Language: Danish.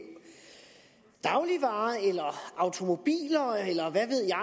dagligvarer eller automobiler eller